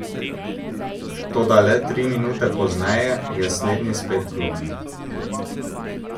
Toda le tri minute pozneje je slednji spet klonil.